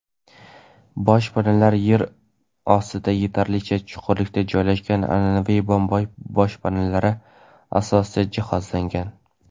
Boshpanalar yer ostida yetarlicha chuqurlikda joylashgan an’anaviy bomba boshpanalari asosida jihozlangan.